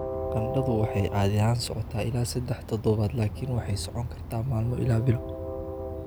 Qandhadu waxay caadi ahaan socotaa ilaa sedaax toddobaad laakiin waxay socon kartaa maalmo ilaa bilo.